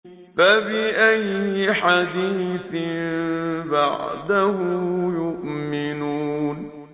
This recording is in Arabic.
فَبِأَيِّ حَدِيثٍ بَعْدَهُ يُؤْمِنُونَ